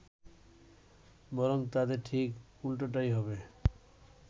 বরং তাতে ঠিক উল্টোটাই হবে